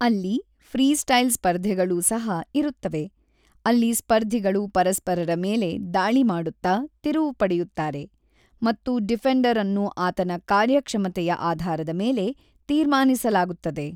ಅಲ್ಲಿ ಫ್ರೀಸ್ಟೈಲ್ ಸ್ಪರ್ಧೆಗಳೂ ಸಹ ಇರುತ್ತವೆ, ಅಲ್ಲಿ ಸ್ಪರ್ಧಿಗಳು ಪರಸ್ಪರರ ಮೇಲೆ ದಾಳಿ ಮಾಡುತ್ತಾ ತಿರುವು ಪಡೆಯುತ್ತಾರೆ ಮತ್ತು ಡಿಫೆಂಡರ್ ಅನ್ನು ಆತನ ಕಾರ್ಯಕ್ಷಮತೆಯ ಆಧಾರದ ಮೇಲೆ ತೀರ್ಮಾನಿಸಲಾಗುತ್ತದೆ.